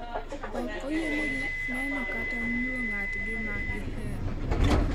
Ok oyienegi neno kata mulo ng'atgi ma gihero.